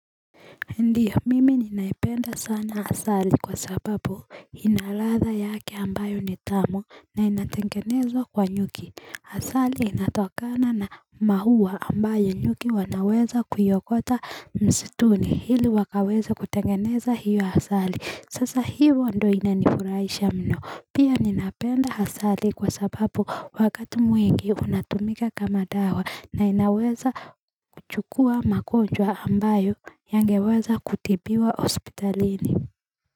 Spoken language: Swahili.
Ndiyo mimi ninaipenda sana asali kwa sababu inaladha yake ambayo ni tamu na inatengenezwa kwa nyuki Asali inatokana na maua ambayo nyuki wanaweza kuyaokota msituni ili wakaweza kutengeneza hiyo asali sasa hivo ndo inanifurahisha mno Pia ninapenda asali kwa sababu wakati mwingi unatumika kama dawa na inaweza kuchukua magonjwa ambayo yangeweza kutibiwa hospitalini.